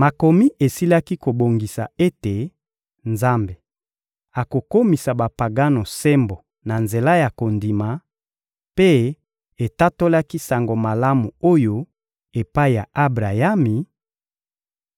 Makomi esilaki kobongisa ete Nzambe akokomisa Bapagano sembo na nzela ya kondima, mpe etatolaki Sango Malamu oyo epai ya Abrayami: